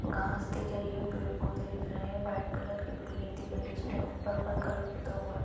घास दिख रही है पेड़ - पौधे दिख रहे है व्हाइट कलर की बिल्डिंग दिख रही है इसमें ऊपर पर्पल कलर पुता हुआ --